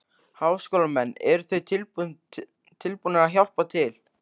Háskólamenn, eruð þið tilbúnir að hjálpa til?